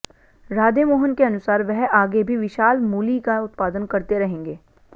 राधेमोहन के अनुसार वह आगे भी विशाल मूली का उत्पादन करते रहेंगे